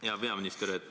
Hea peaminister!